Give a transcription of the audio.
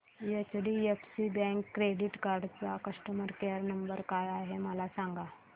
HDFC bank credit card चा customer care number काय आहे मला सांगा